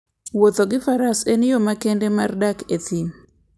Wuotho gi Faras en yo makende mar dak e thim.